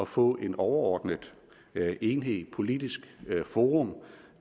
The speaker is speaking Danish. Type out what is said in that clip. få en overordnet enhed et politisk forum